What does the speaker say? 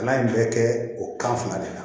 Kalan in bɛ kɛ o kan de la